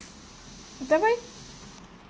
давай